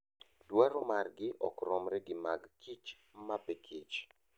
Dwaro margi ok romre gi mag kich mapikich.